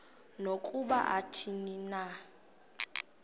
nokuba athini na